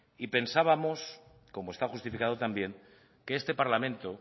y pensábamos como está justificado también que este parlamento